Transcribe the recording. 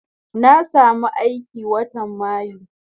Na samu aiki watan mayu